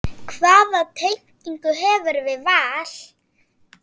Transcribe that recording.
Hvaða tengingu hefurðu við Val?